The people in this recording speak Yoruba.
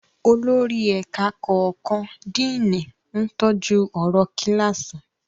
Olórí ẹ̀ka kọ̀ọ̀kan, Díìnì, ń tọ́jú ọ̀rọ̀ kíláàsì.